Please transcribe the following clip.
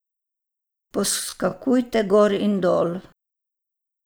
Poskakujte gor in dol.